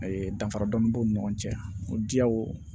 Ayi danfara dɔɔni b'u ni ɲɔgɔn cɛ o diyaw